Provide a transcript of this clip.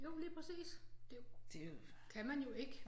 Jo lige præcis det kan man jo ikke